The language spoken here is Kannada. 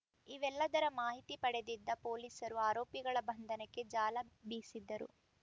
ಇವೆಲ್ಲದರ ಮಾಹಿತಿ ಪಡೆದಿದ್ದ ಪೊಲೀಸರು ಆರೋಪಿಗಳ ಬಂಧನಕ್ಕೆ ಜಾಲ ಬೀಸಿದ್ದರು